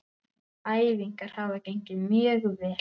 Æfingar hafa gengið mjög vel.